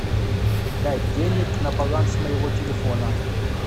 дать денег на баланс моего телефона